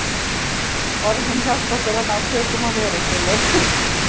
Orðin hjálpa okkur að ná tökum á veröldinni.